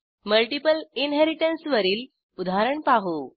multiple inheritance वरील उदाहरण पाहू